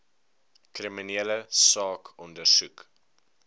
kriminele saak ondersoek